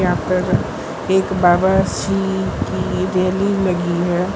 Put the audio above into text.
एक बाबाजी की रैली लगी है।